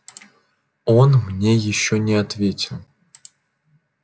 он мне ещё не ответил